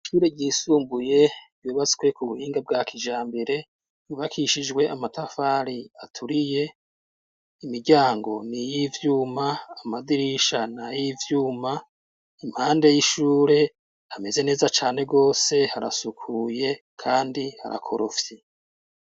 Ishure ryisumbuye ryubatswe ku buhinga bwa kijambere. Ryubakishijwe amatafari aturiye, imiryango ni iy'ivyuma, amadirisha ni ay'ivyuma, impande y'ishure hameze neza cane gose, harasukuye kandi harakorofye.